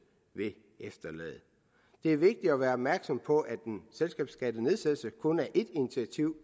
vil efterlade det er vigtigt at være opmærksom på at en selskabsskattenedsættelse kun er ét initiativ